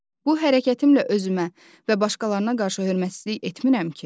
Bu hərəkətimlə özümə və başqalarına qarşı hörmətsizlik etmirəm ki?